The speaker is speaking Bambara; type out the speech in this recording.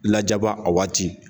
Lajaba a waati